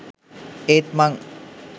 ඒත් මං